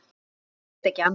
Vilja helst ekki annað.